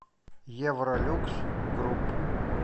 евролюкс групп